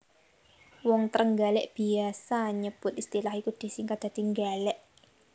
Wong Trenggalèk biyasa nyebut istilah iku disingkat dadi Nggalèk